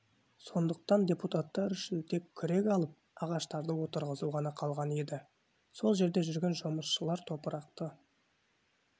сондықтан депутаттар үшін тек күрек алып ағаштарды отырғызу ғана қалған еді сол жерде жүрген жұмысшылар топырақты